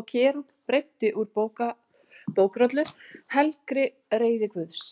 og Kerúb breiddi úr bókrollu, helgri reiði Guðs.